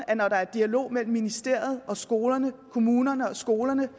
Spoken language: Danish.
at når der er dialog mellem ministeriet og skolerne kommunerne og skolerne